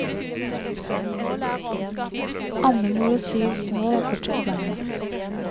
Andemor og syv små var fortsatt på bena.